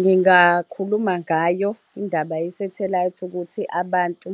Ngingakhuluma ngayo indaba yesathelayithi, ukuthi abantu,